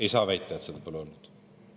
Ei saa väita, et seda pole olnud.